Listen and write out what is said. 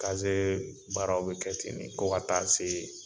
Kaze baaraw bɛ kɛ ten ne fo ka taa se.